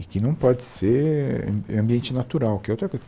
E que não pode ser am ambiente natural, que é outra coisa.